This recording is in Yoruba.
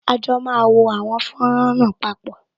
À jọ máa wo àwọn fọ́nrán náà papọ